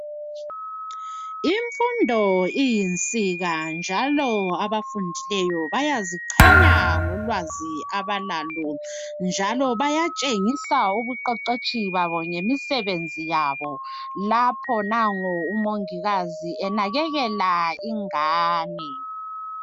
Imfundo iyinsika njalo abafundileyo bayaziqhenya ngolwazi abalalo njalo bayatshengisa ubuqeqetshi babo ngemisebenzi yabo lapho nango umongikazi enakekela ingane.